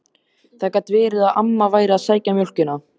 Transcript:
Það gat verið að amma væri að sækja mjólkina.